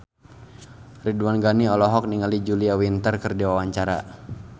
Ridwan Ghani olohok ningali Julia Winter keur diwawancara